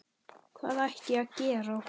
Hvað ætti ég að gera?